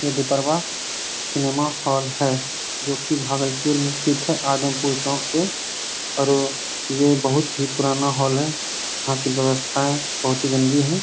ये Deeparwah cinema hall है जो कि भागलपुर मे स्थित है आदमपुर चौक पे और ये बहुत ही पुराना हॉल है। यहाँ कि व्यवस्थाएँ बहुत ही गंदी हैं।